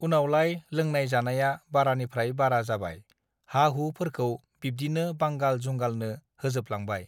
उनावलाय लोंनाय जानाया बारानिफ्राय बारा जाबाय हा हु फोरखौ बिब्दिनो बांगाल जुंगालनो होजोब लांबाय